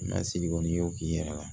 Mɛ sigi kɔni i y'o k'i yɛrɛ la